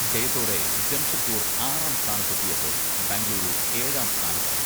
ജയത്തോടെ ജംഷഡ്പൂർ ആറാം സ്ഥാനത്തെത്തിയപ്പോൾ ബംഗുളൂരു ഏഴാം സ്ഥാനത്തായി.